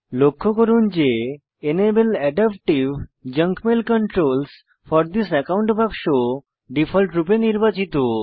লক্ষ্য করুন যে enable adaptive junk mail controls for this account বাক্স ডিফল্টরূপে নির্বাচিত